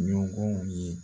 Ɲɔgɔnw ye